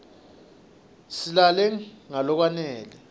silale ngalokwanele